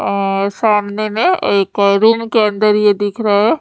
अ सामने में एक रूम के अंदर ये दिख रहा है।